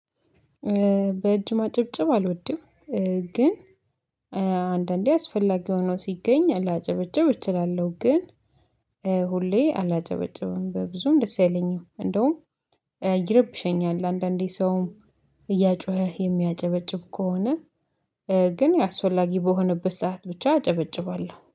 በእጅ ማጨብጨብ አልወድም። ግን አንዳንዴ አስፈላጊ ሆኖ ሲገኝ ላጨበጭብ እችላለሁ። ግን ሁሌ አላጨበጭብም በብዙም ደስ አይለኝም እንደውም ይረብሸኛል። አንዳንዴ ሰውም እያጮኸ የሚያጨበጭብ ከሆነ ግን አስፈላጊ በሆነበት ሰዓት ብቻ አጨበጭባለሁ